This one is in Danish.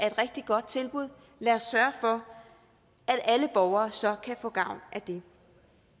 et rigtig godt tilbud lad os sørge for at alle borgere så kan få gavn af det det